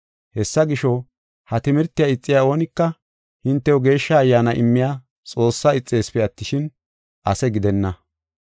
Hessa gisho, ha timirtiya ixiya oonika hintew Geeshsha Ayyaana immiya Xoossaa ixeesipe attishin, ase gidenna.